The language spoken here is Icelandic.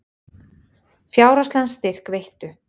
Fjárhagslegan styrk veittu